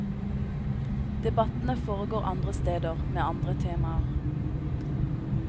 Debattene foregår andre steder, med andre temaer.